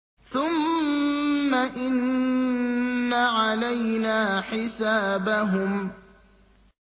ثُمَّ إِنَّ عَلَيْنَا حِسَابَهُم